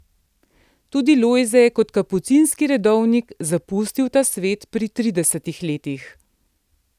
Tudi Lojze je kot kapucinski redovnik zapustil ta svet pri tridesetih letih.